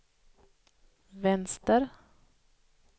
vänster